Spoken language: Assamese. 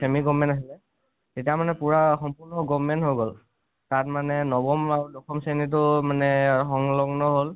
semi-government আছিলে তেতিয়া মানে পুৰা সম্পুৰ্ন government হৈ গল । তাতে মানে নবম আৰু দশম শ্ৰণীটোও সংল্গন হল